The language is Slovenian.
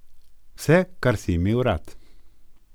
Vse, kar si imel rad.